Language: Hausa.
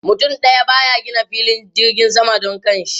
Mutum daya ba ya gina filin jirgin sama don kanshi.